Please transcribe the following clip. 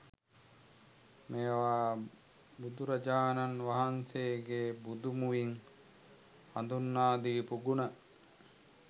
මේවා බුදුරජාණන් වහන්සේගේ බුදු මුවින් හඳුන්වා දීපු ගුණ.